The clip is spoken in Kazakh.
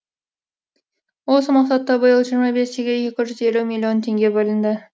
осы мақсатта биыл жиырма бес үйге екі жүз елу миллион теңге бөлінді